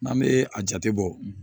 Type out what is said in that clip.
N'an bɛ a jate bɔ